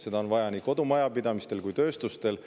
Seda on vaja nii kodumajapidamistel kui ka tööstusel.